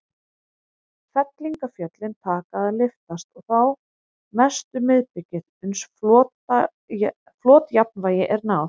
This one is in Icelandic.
Fellingafjöllin taka að lyftast, og þá mest um miðbikið, uns flotjafnvægi er náð.